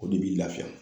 O de b'i lafiya